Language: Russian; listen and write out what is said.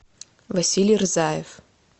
василий рзаев